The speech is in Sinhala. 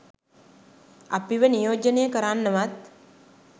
අපිව නියෝජනය කරන්නවත්